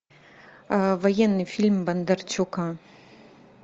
военный фильм бондарчука